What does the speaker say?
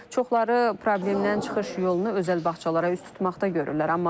Çoxları problemdən çıxış yolunu özəl bağçalara üst tutmaqda görürlər,